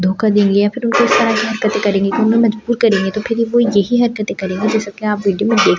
धोखा देंगे या फिर उनको साथ हरकतें करेंगे उन्हें मजबूर करेंगे तो फिर वो यही हरकतें करेंगे जैसे कि आप वीडियो में देख ।